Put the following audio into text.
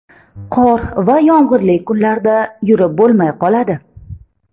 Qor va yomg‘irli kunlarda yurib bo‘lmay qoladi”.